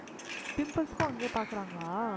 pimples க்கும் அங்கேயே பார்க்கறாங்களா?